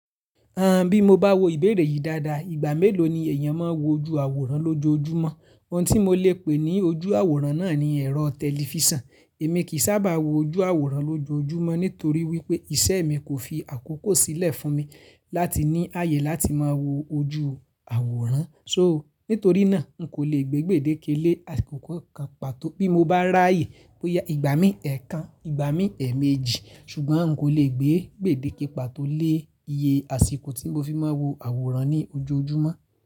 Bí mo bá wo ìbéèrè yìí dáadáa, ìgbà mélòó ni èèyàn máa ń wo ojú àwòrán lójoojúmọ́? Ohun tí mo lè pè ní ojú àwòrán náà ni ẹ̀rọ tẹlifísàn. Èmi kì í sábà wo ojú àwòrán lójoojúmọ́ nítorí wípé iṣẹ́ mi kò fi àkókò sílẹ̀ fún mi láti ní ààyè láti máa wo ojú àwòrán. So nítorí náà, n kò lè gbé gbèdéke lé àsìkò kan pàtó bí mo bá ráàyè bóyá ìgbà mí ẹ̀ẹ̀kan, ìgbà mí ẹ̀ẹ̀méjì, ṣùgbọ́n n kò lè gbé gbèdéke pàtó lé iye àsìkò tí mo fi máa wo àwòrán ní ojoojúmọ́